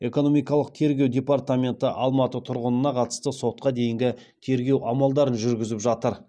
экономикалық тергеу департаменті алматы тұрғынына қатысты сотқа дейінгі тергеу амалдарын жүргізіп жатыр